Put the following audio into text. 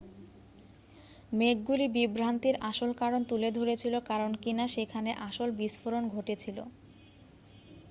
মেঘগুলি বিভ্রান্তির আসল কারণ তুলে ধরেছিল কারণ কিনা সেখানে আসল বিস্ফোরণ ঘটেছিল